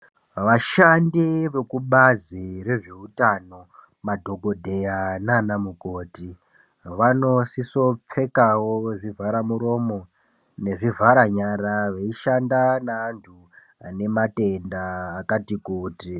Vashandi vekubazi rezvehutano, madhokodheya nanamukoti, vanosiso pfekawo zvivharamuromo, nezvivhara nyara veyishanda ne antu vanematenda akati kuti.